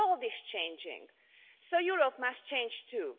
The world is changing, so Europe must change too.